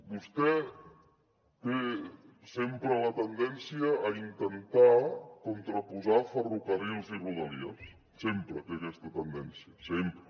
vostè té sempre la tendència a intentar contraposar ferrocarrils i rodalies sempre té aquesta tendència sempre